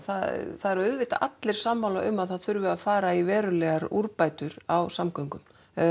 það eru auðvitað allir sammála um að það þurfi að fara í verulegar úrbætur á samgöngu